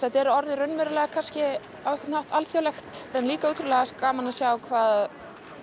þetta er orðið raunverulega alþjóðlegt það er líka ótrúlega gaman að sjá hvað